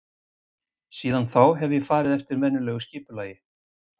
Síðan þá hef ég farið eftir venjulegu skipulagi.